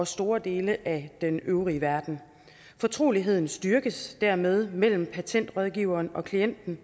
store dele af den øvrige verden fortroligheden styrkes dermed mellem patentrådgiveren og klienten